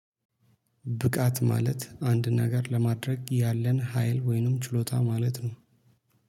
ብቃት ማለት አንድ ነገር ለማድረግ ያለን ሀይል ወይንም ችሎታ ማለት ነው